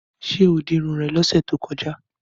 Ṣé o di irun rẹ lọ́sẹ̀ tó kọjá?